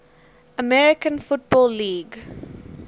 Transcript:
american football league